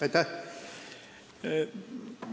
Aitäh!